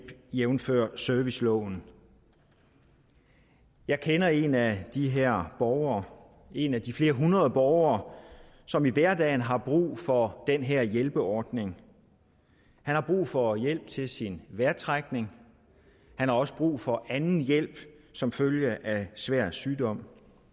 jævnfør serviceloven jeg kender en af de her borgere en af de flere hundrede borgere som i hverdagen har brug for den her hjælperordning han har brug for hjælp til sin vejrtrækning og han har også brug for anden hjælp som følge af svær sygdom